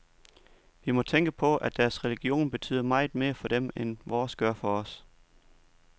Vi må tænke på, at deres religion betyder meget mere for dem end vores gør for os.